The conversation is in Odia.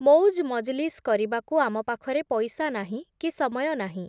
ମଉଜ୍ ମଜଲିସ୍ କରିବାକୁ ଆମ ପାଖରେ ପଇସା ନାହିଁ, କି ସମୟ ନାହିଁ ।